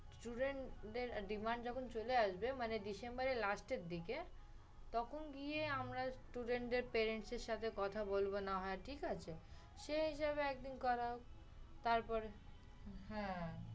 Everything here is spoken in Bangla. student দের demand যখন চলে আসবে মানে December এর last এর দিকে তখন গিয়ে আমরা student দের parents এর সাথে কথা বলবো না হয়, ঠিক আছে? সে জায়গায় একদিন কথা হবে তারপরে